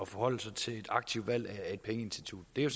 forholde sig til et aktivt valg af pengeinstitut det er